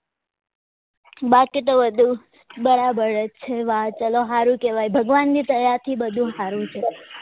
બાકી તો બધું બરાબર જ છે વા ચલો હારું કેવાય ભગવાન ની દયા થી બધું હારું છે